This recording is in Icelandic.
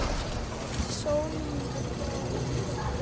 Sólmundur, hvað er á innkaupalistanum mínum?